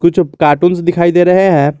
कुछ कार्टून्स दिखाई दे रहे हैं।